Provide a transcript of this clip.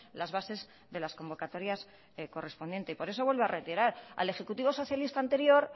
las bases de las convocatorias correspondientes por eso vuelvo a reiterar al ejecutivo socialista anterior